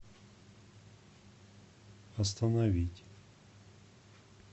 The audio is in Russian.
остановить